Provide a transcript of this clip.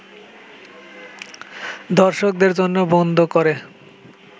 দর্শকদের জন্য বন্ধ করে